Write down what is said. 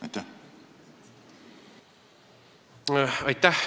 Aitäh!